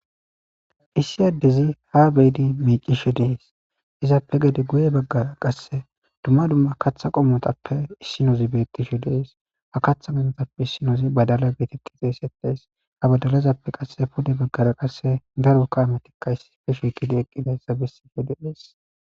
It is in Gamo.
Issi adezi ha bedi micishe des izzappe gede guye bagara katha qomotappeka issinozi betishe de'es ha kathappe issinozi badala geteti xeysetes ha badalappe pude bagaraka daro kametika issippe shiqidi eqidaysa besishe de'es